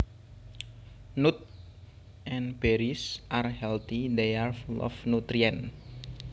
Nuts and berries are healthy they are full of nutrients